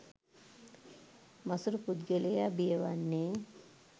මසුරු පුද්ගලයා බිය වන්නේ